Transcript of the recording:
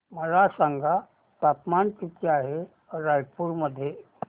मला सांगा तापमान किती आहे रायपूर मध्ये